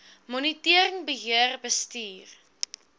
monitering beheer bestuur